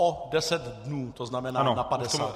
O 10 dnů, to znamená na 50 dní.